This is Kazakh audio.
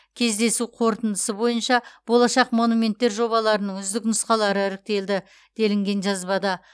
кездесу қорытындысы бойынша болашақ монументтер жобаларының үздік нұсқалары іріктелді делінген жазбада